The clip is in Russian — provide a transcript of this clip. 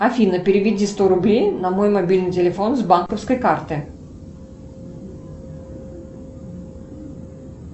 афина переведи сто рублей на мой мобильный телефон с банковской карты